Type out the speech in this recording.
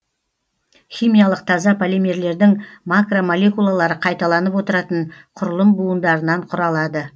химиялық таза полимерлердің макромолекулалары қайталанып отыратын құрылым буындарынан құралады